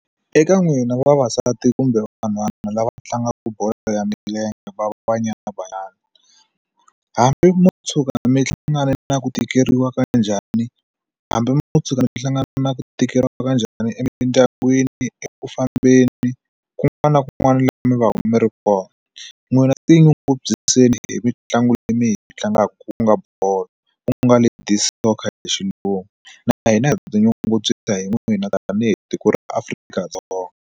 Eka n'wina vavasati kumbe vanhwana lava tlangaka bolo ya milenge va Banyana Banyana hambi mo tshuka mi hlangana na ku tikeriwa ka njhani hambi mo tshuka mi hlangana na ku tikeriwa ka njhani emindyangwini eku fambeni kun'wana na kun'wana laha mi va mi ri kona n'wina ti nyungubyiseni hi mitlangu leyi mi hi tlangaku ku nga bolo ku nga ladies soccer hi Xilungu na hina ha tinyungubyisa hi n'wina ta tanihi tiko ra Afrika-Dzonga.